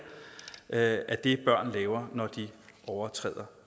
er det børn laver når de overtræder